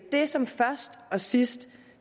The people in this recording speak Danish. det som først og sidst